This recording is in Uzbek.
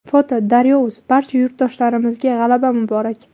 foto: daryo.uz Barcha yurtdoshlarimizga g‘alaba muborak!